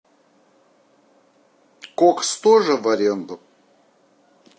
кокс тоже в аренду